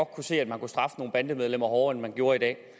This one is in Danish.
kunne se at man kunne straffe nogle bandemedlemmer hårdere end man gjorde i dag